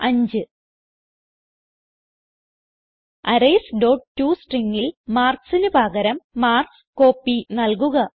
arrays dot tostringൽ marksന് പകരം മാർക്ക്സ് കോപ്പി നൽകുക